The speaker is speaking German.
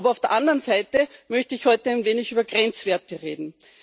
Aber auf der anderen Seite möchte ich heute ein wenig über Grenzwerte reden.